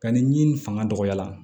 Ka ni fanga dɔgɔyala